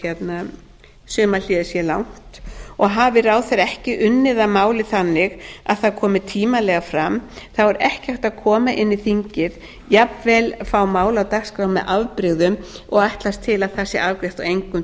sumarhléið sé langt hafi ráðherra ekki unnið að máli þannig að það komi tímanlega fram þá er ekki hægt að koma inn í þingið jafnvel fá mál á dagskrá með afbrigðum og ætlast til að það sé afgreitt á engum